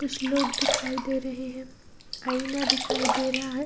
कुछ लोग दिखाई दे रहे हैं आईना दिखाई दे रहा है।